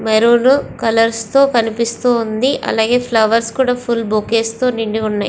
Maroon colours తో కనిపిస్తోంది. అలాగే ఫ్లవర్స్ కూడా ఫుల్ బొకేస్ తో నిండి ఉన్నాయి.